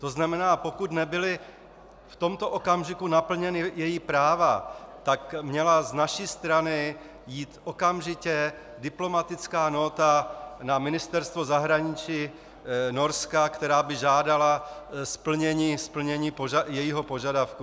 To znamená, pokud nebyla v tomto okamžiku naplněna její práva, tak měla z naší strany jít okamžitě diplomatická nóta na Ministerstvo zahraničí Norska, která by žádala splnění jejího požadavku.